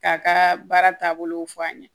K'a ka baara taabolo fɔ an ɲɛnɛ